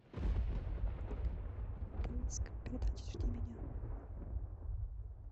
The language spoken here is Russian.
поиск передачи жди меня